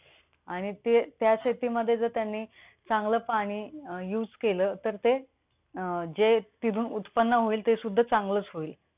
असे अनेक ओव्हाळ एकत्र येतात व जमिनीवर असलेल्या सकळ भागातून वाहतात.त्यास ओढा म्हणतात असे बरेच ओढे मिळून पुढे एक मोठा प्रवाह बनतो.